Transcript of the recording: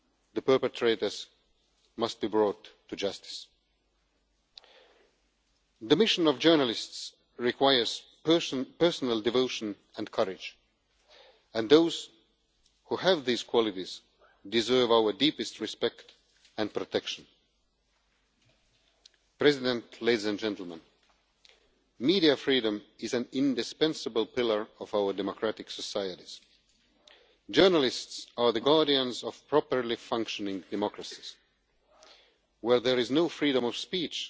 The perpetrators must be brought to justice. The mission of journalists requires personal devotion and courage, and those who have these qualities deserve our deepest respect and protection. Media freedom is an indispensable pillar of our democratic societies. Journalists are the guardians of properly functioning democracies. Where there is no freedom of speech